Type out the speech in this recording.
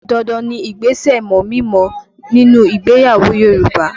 Dandan ni ìgbésẹ̀ mọ̀mí-n-mọ̀ọ́ nínú ìgbéyàwó Yoruba